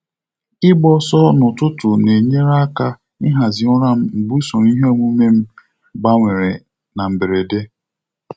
Ịgba ọsọ n'ụtụtụ na-enyere aka ịhazi ụra m mgbe usoro iheomume m m gbanwere na mberede.